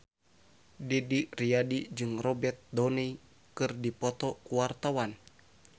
Didi Riyadi jeung Robert Downey keur dipoto ku wartawan